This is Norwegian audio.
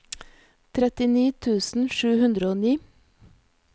trettini tusen sju hundre og ni